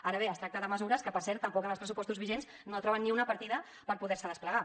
ara bé es tracta de mesures que per cert tampoc en els pressupostos vigents no troben ni una partida per poder se desplegar